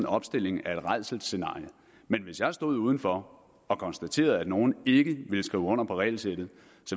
opstilling af et rædselsscenarie men hvis jeg stod udenfor og konstaterede at nogle ikke ville skrive under på regelsættet